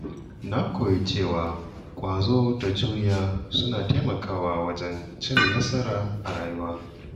Na koyi cewa ƙwazo da juriya suna taimakawa wajen cin nasara a rayuwa.